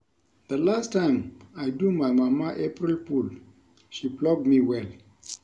The last time I do my mama April fool she flog me well